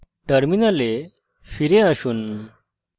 terminal ফিরে আসুন